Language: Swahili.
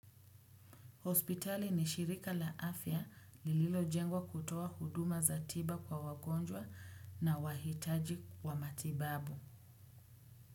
Hospitali ni shirika la afya lililo jengwa kutoa huduma za tiba kwa wagonjwa na wahitaji wa matibabu.